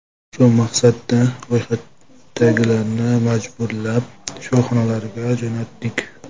Shu maqsadda ro‘yxatdagilarni majburlab shifoxonalarga jo‘natdik.